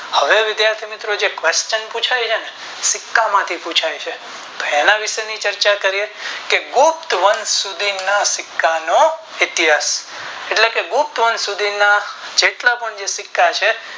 હવે વિધાથી મિત્રો જે question પુછાય છે ને સિક્કા માંથી પુછાય છે તો એના વિષે ની ચર્ચા કરીયે કે ગુપ્ત વંશ સુધી ના સિક્કા નો ઇતિહાસ એટલે કે ગુપ્ત વંશ સુધી ના જેટલા પણ જે સિક્કા છે.